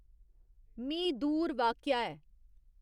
मी दूर वाक्या ऐ।